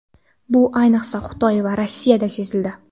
Bu, ayniqsa, Xitoy va Rossiyada sezildi.